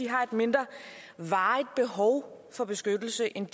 har et mindre varigt behov for beskyttelse end